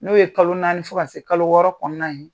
N'o ye kalo naani fo ka se kalo wɔɔrɔ kɔnɔna ye.